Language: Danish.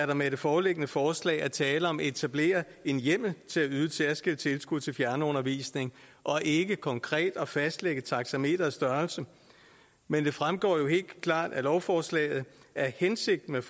der med det foreliggende forslag er tale om at etablere en hjemmel til at yde et særskilt tilskud til fjernundervisning og ikke konkret at fastlægge taxameterets størrelse men det fremgår jo helt klart af lovforslaget at hensigten